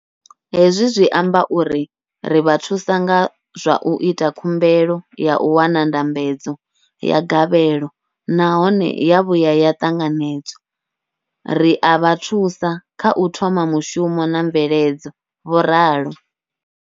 Hezwi zwi amba uri ri vha thusa nga zwa u ita khumbelo ya u wana ndambedzo ya gavhelo nahone ya vhuya ya ṱanganedzwa, ri a vha thusa kha u thoma mushumo na mveledzo, vho ralo.